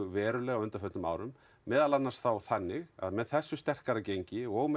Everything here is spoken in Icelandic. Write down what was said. verulega á undanförnum árum meðal annars þá þannig að með þessu sterkara gengi og með